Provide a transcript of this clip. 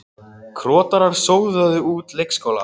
Krotarar sóðuðu út leikskóla